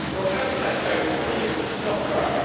How did that go for you? Not well.